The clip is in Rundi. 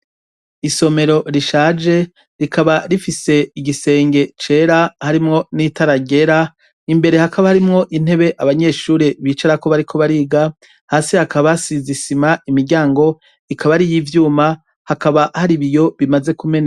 Isomero rishaje rikaba rifise igisenge cera harimwo n'itara ryera, imbere hakaba harimwo intebe abanyeshure bicarako bariko bariga, hasi hakaba hasize isima, imiryango ikaba ariy'ivyuma ,hakaba hari ibiyo bimaze kumeneka.